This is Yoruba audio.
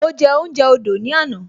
Mo je ounje odo ni ana